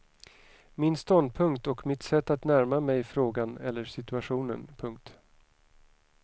Min ståndpunkt och mitt sätt att närma mig frågan eller situationen. punkt